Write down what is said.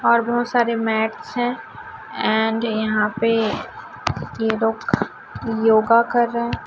और बहोत सारे मैट्स हैं एंड यहां पे ये लोग योगा कर रहे हैं।